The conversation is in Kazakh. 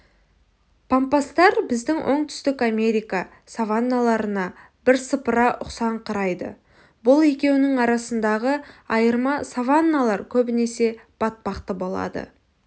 пампастар біздің оңтүстік америка саванналарына бірсыпыра ұқсаңқырайды бұл екеуінің арасындағы айырма саванналар көбінесе батпақты болады